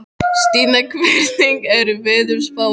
Stína, hvernig er veðurspáin?